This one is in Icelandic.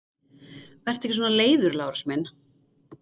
Vertu ekki svona leiður, Lárus minn!